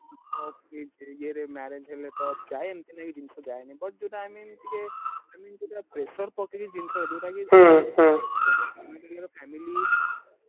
Norway ଇଏ ରେ marriage ହେଲେ ତ ଯାଏ ଏମିତି ନାଇଁ କି ଜିନିଷ ଯାଏନି but ଯୋଉଟା i mean ଟିକେ i mean ଯୋଉଟା tike pressure ପକେଇକି ଜିନିଷ ଯୋଉଟା କି ସମସ୍ତିଙ୍କର family